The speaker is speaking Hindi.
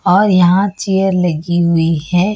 और यहां चेयर लगी हुई है।